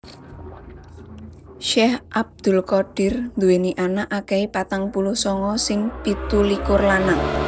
Syekh Abdul Qadir nduwèni anak akèhé patang puluh sanga sing pitulikur lanang